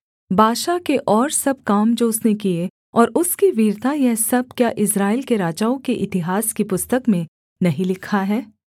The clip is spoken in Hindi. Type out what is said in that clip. बाशा के और सब काम जो उसने किए और उसकी वीरता यह सब क्या इस्राएल के राजाओं के इतिहास की पुस्तक में नहीं लिखा है